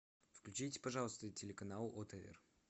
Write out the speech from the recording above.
включите пожалуйста телеканал отр